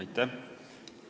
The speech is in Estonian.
Aitäh!